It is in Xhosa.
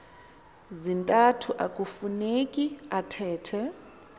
zintathu akueuneki athethe